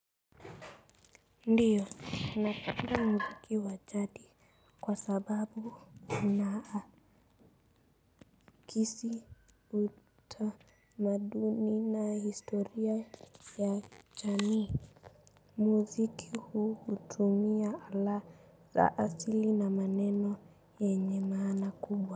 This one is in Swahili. Ndiyo ninasikiliza muziki wa jadi. Kwa sababu unaakisi utamaduni na historia ya chani muziki huu utumia ala zaasili na maneno yenye maana kubwa.